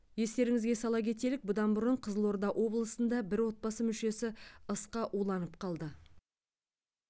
естеріңізге сала кетелік бұдан бұрын қызылорда облысында бір отбасы мүшесі ысқа уланып қалды